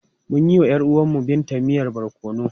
Mun yi wa ‘yar uwar Binta miyan barkono.